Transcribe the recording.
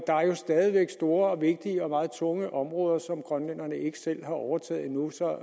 stadig væk store vigtige og meget tunge områder som grønlænderne ikke selv har overtaget endnu så